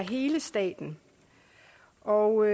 hele staten og